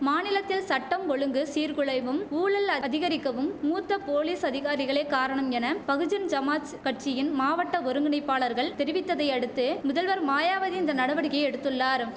மாநிலத்தில் சட்டம் ஒழுங்கு சீர் குலைவும் ஊழல் அதிகரிக்கவும் மூத்த போலீஸ் அதிகாரிகளே காரணம் என பகுஜன் சமாஜ் கட்சியின் மாவட்ட ஒருங்கிணைப்பாளர்கள் தெரிவித்ததை அடுத்து முதல்வர் மாயாவதி இந்த நடவடிக்கையை எடுத்துள்ளாரும்